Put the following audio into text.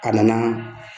A nana